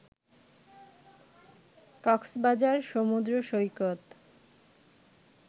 কক্সবাজার সমুদ্র সৈকত